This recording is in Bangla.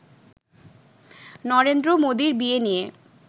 নরেন্দ্র মোদির বিয়ে নিয়ে